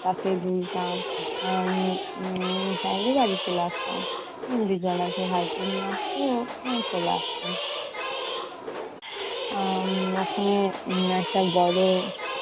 তাতে দুলতাম। আহ উম তারপরে বাড়ি চলে আসতাম। বিদ্যালয় থেকে ভাইকেও নিয়ে আসতো, আমি চলে আসতাম। ওখানে একটা বড়